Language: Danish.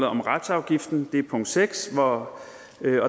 om retsafgiften det er punkt seks og